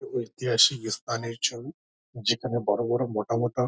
ঐতিহাসিক স্থানের ছবি যেখানে বড় বড় মোটা মোটা--